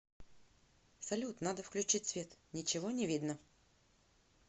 салют надо включить свет ничего не видно